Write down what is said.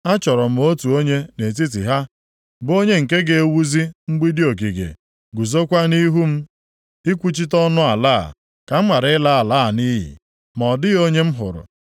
“Achọrọ m otu onye nʼetiti ha bụ onye nke ga-ewuzi mgbidi ogige, guzokwa nʼihu m ikwuchite ọnụ ala a, ka m ghara ịla ala a nʼiyi, ma ọ dịghị onye m hụrụ.